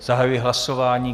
Zahajuji hlasování.